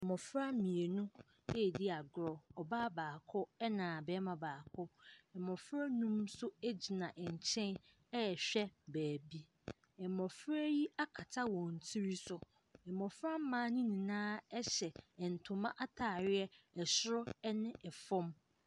Mmɔfra mmienu ɛredi agorɔ. Ɔbaa baako ɛna barima baako. Mmɔfra nnum nso gyina ɛnkyɛn ɛrewhɛ baabi. Mmɔfra yi akata wɔn tiri so. Mmɔfra mmaa no nyinaa ɛhyɛ ntoma ataare ɛsoro ɛne ɛfam.